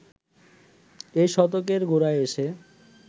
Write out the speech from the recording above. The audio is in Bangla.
এই শতকের গোড়ায় এসে